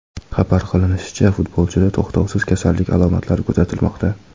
Xabar qilinishicha, futbolchida to‘xtovsiz kasallik alomatlari kuzatilmoqda.